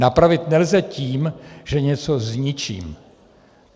Napravit nelze tím, že něco zničím.